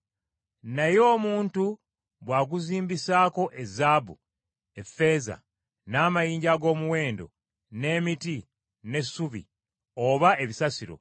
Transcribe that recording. Naye Omuntu bw’aguzimbisaako ezaabu, effeeza, n’amayinja ag’omuwendo n’emiti, n’essubi, oba ebisasiro;